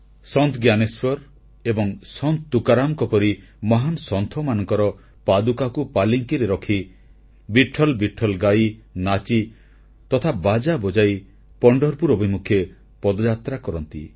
ସନ୍ଥ ଜ୍ଞାନେଶ୍ୱର ଏବଂ ସନ୍ଥ ତୁକାରାମଙ୍କ ପରି ମହାନ୍ ସନ୍ଥମାନଙ୍କର ପାଦୁକାକୁ ପାଲିଙ୍କିରେ ରଖି ବିଟ୍ଠଲ ବିଟ୍ଠଲ ଗାଇ ନାଚି ତଥା ବାଜା ବଜାଇ ପଣ୍ଢରପୁର ଅଭିମୁଖେ ପଦଯାତ୍ରା କରନ୍ତି